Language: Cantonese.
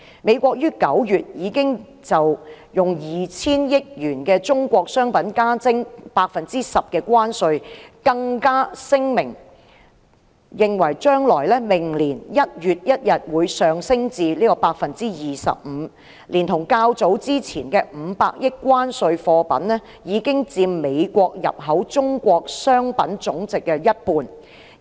美國於9月已經就 2,000 億元的中國商品加徵 10% 關稅，更聲明將在明年1月1日將關稅增至 25%， 連同較早前的500億元關稅所涉及的貨品，已佔美國入口中國商品總值的一半。